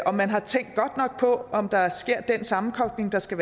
man har tænkt godt nok på om der sker den sammenkobling der skal